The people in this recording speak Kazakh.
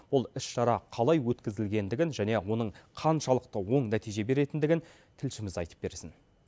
ол іс шара қалай өткізілгендігін және оның қаншалықты оң нәтиже беретіндігін тілшіміз айтып берсін